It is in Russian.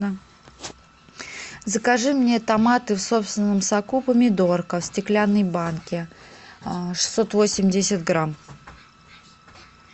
закажи мне томаты в собственном соку помидорка в стеклянной банке шестьсот восемьдесят грамм